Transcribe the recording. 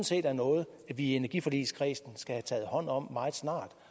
set er noget vi i energiforligskredsen skal have taget hånd om meget snart